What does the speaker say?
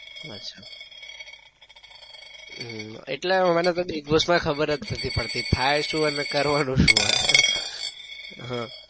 અચ્છા હમ્મ એટલે મને તો big boss માં ખબર જ નઈ પડતી થાય શું અને કરવાનું શું હોય!